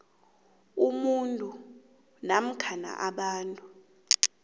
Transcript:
umuntu namkha abantu